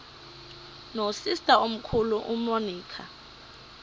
nosister omkhulu umonica